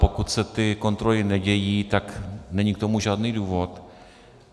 Pokud se ty kontroly nedějí, tak není k tomu žádný důvod.